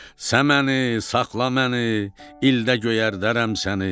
Səməni, saxla məni, ildə göyərdərəm səni.